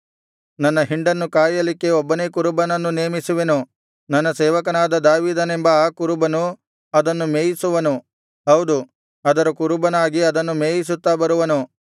ನನ್ನ ಹಿಂಡನ್ನು ಕಾಯಲಿಕ್ಕೆ ಒಬ್ಬನೇ ಕುರುಬನನ್ನು ನೇಮಿಸುವೆನು ನನ್ನ ಸೇವಕನಾದ ದಾವೀದನೆಂಬ ಆ ಕುರುಬನು ಅದನ್ನು ಮೇಯಿಸುವನು ಹೌದು ಅದರ ಕುರುಬನಾಗಿ ಅದನ್ನು ಮೇಯಿಸುತ್ತಾ ಬರುವನು